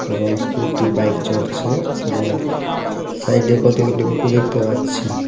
এবং scooty bike চড়ছে এবং সাইডে কতগুলো অটো দেখতে পাচ্ছি.